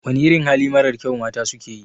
Wana irin hali marar kyau mata suke yi?